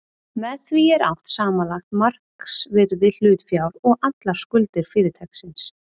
Með því er átt við samanlagt markaðsvirði hlutafjár og allar skuldir fyrirtækisins.